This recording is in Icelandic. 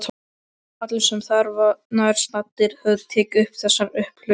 Allir sem þarna voru nærstaddir höfðu tekið eftir þessu upphlaupi.